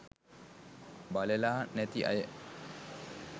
බලලා නැති අය